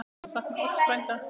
Ég mun sakna Odds frænda.